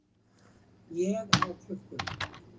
Ég á klukkuna.